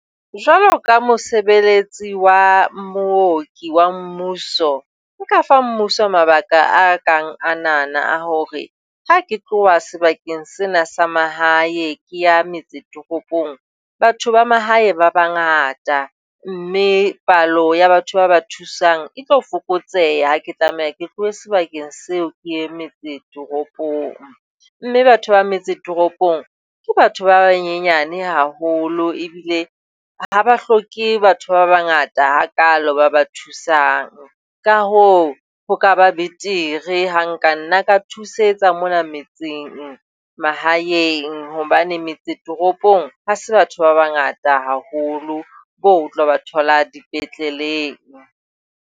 Jwalo ka mosebeletsi wa mooki wa mmuso, nka fa mmuso mabaka a kang anana a hore ha ke tloha sebakeng sena sa mahae ke ya metse toropong, batho ba mahae ba bangata, mme palo ya batho ba ba thusang e tlo fokotseha ha ke tlameha ke tlohe sebakeng seo ke ye metse toropong, mme batho ba metse toropong ke batho ba banyane haholo ebile ha ba hloke batho ba bangata hakaalo ba ba thusang ka hoo ho ka ba betere ha nkanna ka thusetsa mona metseng mahaeng hobane metse toropong ha se batho ba bangata haholo bo o tla ba thola dipetleleng.